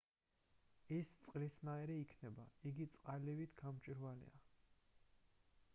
ის წყლისნაირი იქნება იგი წყალივით გამჭვირვალეა